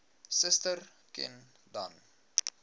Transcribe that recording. suster ken dan